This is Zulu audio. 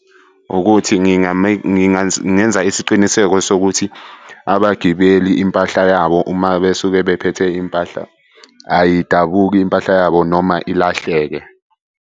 Ukuthi ngingenza isiqiniseko sokuthi abagibeli impahla yabo uma besuke bephethe impahla ayidabuki impahla yabo noma ilahleke.